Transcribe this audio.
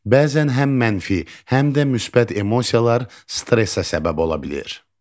Bəzən həm mənfi, həm də müsbət emosiyalar stressə səbəb ola bilir.